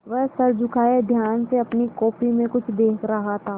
वह सर झुकाये ध्यान से अपनी कॉपी में कुछ देख रहा था